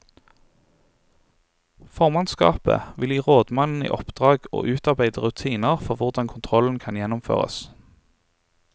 Formannskapet vil gi rådmannen i oppdrag å utarbeide rutiner for hvordan kontrollen kan gjennomføres.